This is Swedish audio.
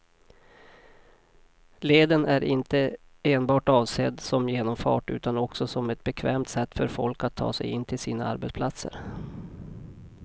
Leden är inte enbart avsedd som genomfart utan också som ett bekvämt sätt för folk att ta sig in till sina arbetsplatser.